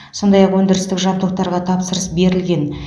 сондай ақ өндірістік жабдықтарға тапсырыс берілген